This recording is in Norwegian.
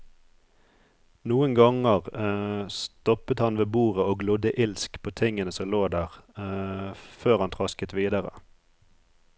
Noen ganger stoppet han ved bordet og glodde ilsk på tingene som lå der før han trasket videre.